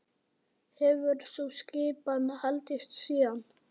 Hefur sú skipan haldist síðan.